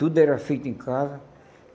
Tudo era feito em casa.